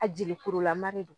A jelikurulama de don